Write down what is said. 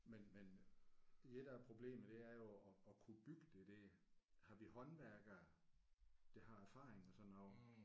Men men det der er problemet det er jo at at kunne bygge det der. Har vi håndværkere der har erfaring og sådan noget